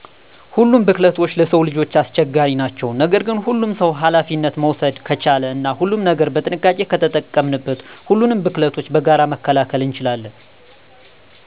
ሁሉም ቡክለቶች ለስዉ ልጆች አስቸጋሪ ናቸዉ። ነገር ግን ሁሉም ሰዉ አላፊነት መዉሰደ ከቻለ እና ሁሉንም ነገር በጥንቃቄ ከተጠቀምን ሁሉንም ቡክለቶች በጋራ መከላከል እንችላለን።